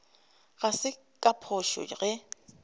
ga se ka phošo ge